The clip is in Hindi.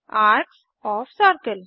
arcs O F circle